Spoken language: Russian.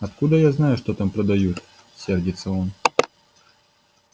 откуда я знаю что там продают сердится он